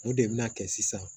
O de bɛna kɛ sisan